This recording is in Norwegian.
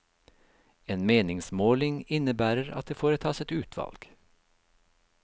En meningsmåling innebærer at det foretas et utvalg.